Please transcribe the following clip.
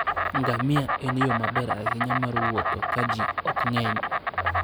Ngamia en yo maber ahinya mar wuotho ka ji ok ng'eny.